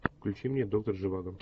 включи мне доктор живаго